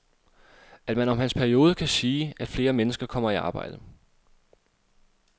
At man om hans periode kan sige, at flere mennesker kommer i arbejde.